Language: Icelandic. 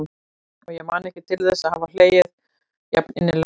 Og ég man ekki til þess að hafa oft hlegið jafn innilega.